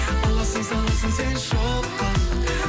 аласың саласың сен шоққа